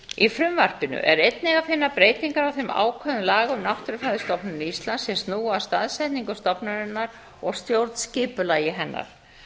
í frumvarpinu er einnig að finna breytingar á þeim ákvæðum laga um náttúrufræðistofnun íslands sem snúa að staðsetningu stofnunarinnar og stjórnskipulagi hennar